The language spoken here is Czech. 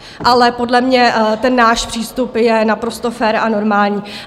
Ale podle mě ten náš přístup je naprosto fér a normální.